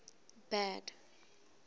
bad